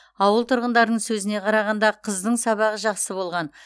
ауыл тұрғындарының сөзіне қарағанда қыздың сабағы жақсы болған